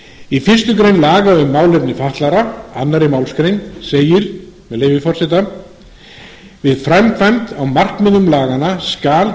í fyrstu grein laga um málefni fatlaðra annarri málsgrein segir með leyfi forseta við framkvæmd á markmiðum laganna skal